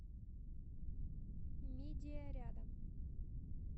мидия рядом